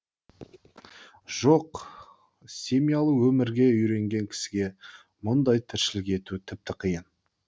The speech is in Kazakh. жоқ семьялы өмірге үйренген кісіге мұндай тіршілік ету тіпті қиын